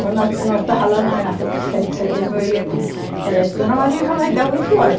Quando nós, nós estava lá na ru, sete de setembro, eu e ele ela disse, dona Maria, já vai dar oito horas.